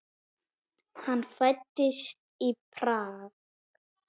Hann fæddist í Prag.